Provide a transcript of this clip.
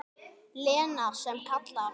Lena sem kallar.